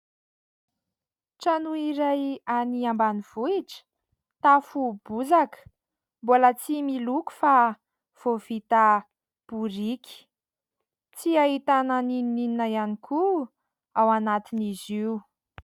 Trano iray, any ambanivohitra, tafo bozaka, mbola tsy miloko fa vao vita biriky ; tsy ahitana na inona na inona ihany koa ao anatin'izy io.